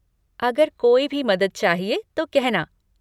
अगर कोई भी मदद चाहिए तो कहना।